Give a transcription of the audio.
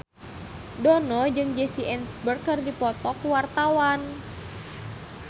Dono jeung Jesse Eisenberg keur dipoto ku wartawan